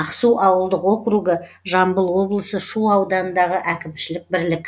ақсу ауылдық округі жамбыл облысы шу ауданындағы әкімшілік бірлік